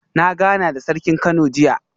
Na gana da Sarkin Kano jiya